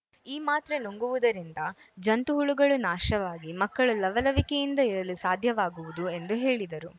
ಈ ಮಾತ್ರೆ ನುಂಗುವುದರಿಂದ ಜಂತು ಹುಳುಗಳು ನಾಶವಾಗಿ ಮಕ್ಕಳು ಲವಲವಿಕೆಯಿಂದ ಇರಲು ಸಾಧ್ಯವಾಗುವುದು ಎಂದು ಹೇಳಿದರು